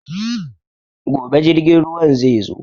Gobe jirgin ruwan zai zo.